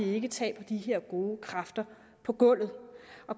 ikke taber de her gode kræfter på gulvet